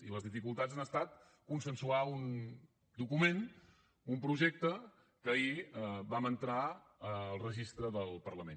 i les dificultats han estat consensuar un document un projecte que ahir vam entrar al registre del parlament